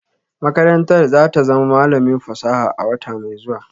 Makarantar za ta zama malamin fasaha a wata mai zuwa